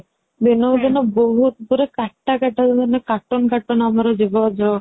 ଦିନକୁ ଦିନ ବହୁତ ମାନେ କାଟା କାଟା cartoon cartoon ଆମର ଯିବ ଯୋଉ